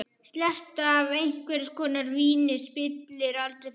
Sletta af einhvers konar víni spillir aldrei fyrir.